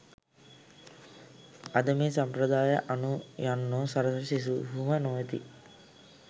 අද මේ සම්ප්‍රදායය අනු යන්නෝ සරසවි සිසුහුම නොවෙති